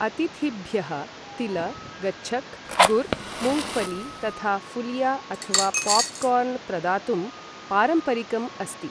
अतिथिभ्यः तिल, गच्छक्, गुर, मूङ्गफली तथा फुलिया अथवा पॉपकॉर्न् प्रदातुं पारम्परिकम् अस्ति ।